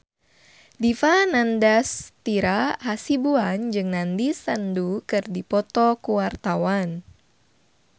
Dipa Nandastyra Hasibuan jeung Nandish Sandhu keur dipoto ku wartawan